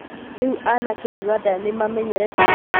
Rĩũ anake Ũganda nĩmamenyerete mũthako wa kamarĩ?